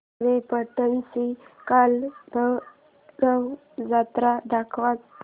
खारेपाटण ची कालभैरव जत्रा दाखवच